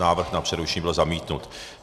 Návrh na přerušení byl zamítnut.